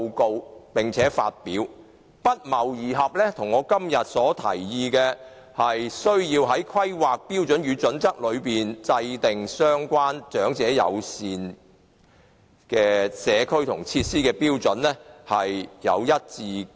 該報告的建議與我的看法一致，我提議要在《規劃標準》中制訂相關長者友善社區設施的標準。